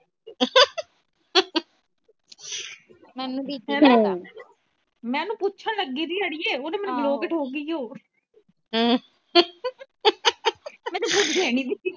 ਮੈ ਓਹਨੂੰ ਪੁੱਛਣ ਲੱਗੀ ਥੀ ਅੜੀਏ ਉਹ ਤਾ ਮੈਨੂੰ block ਈ ਠੋਕ ਗਈ ਮੈ ਤਾ ਪੁੱਛਿਆ ਵੀ ਨਹੀਂ